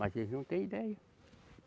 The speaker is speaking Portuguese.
Mas eles não tem ideia.